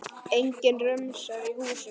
Enginn rumskar í húsinu.